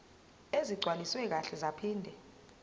ezigcwaliswe kahle zaphinde